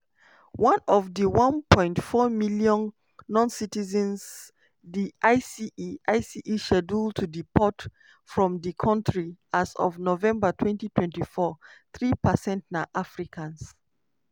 out of di 1.4 million noncitizens di ice ice schedule to deport from di kontri as of november 2024 three percent na africans.